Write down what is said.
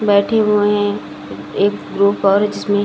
बेठे हुएं हैं एक ग्रूप और जिसमें --